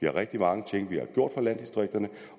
rigtig mange ting for landdistrikterne